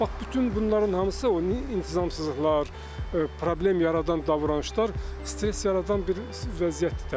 Bax bütün bunların hamısı, o intizamsızlıqlar, problem yaradan davranışlar stres yaradan bir vəziyyətdir təbii ki.